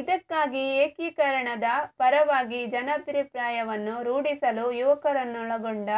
ಇದಕ್ಕಾಗಿ ಏಕೀಕರಣದ ಪರವಾಗಿ ಜನಾಭಿಪ್ರಾಯವನ್ನು ರೂಢಿಸಲು ಯುವಕರನ್ನೊಳಗೊಂಡ